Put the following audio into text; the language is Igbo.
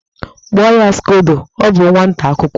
Kpụọ ya skodo, ọ bụ nwata akwụkwọ!